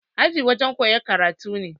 Aji gurin koyan karatu ne